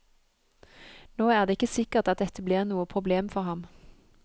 Nå er det ikke sikkert at dette blir noe problem for ham.